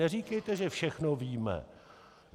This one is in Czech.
Neříkejte, že všechno víme!